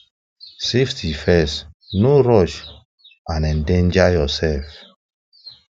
safety first no rush and endanger yourself